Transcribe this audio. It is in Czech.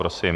Prosím.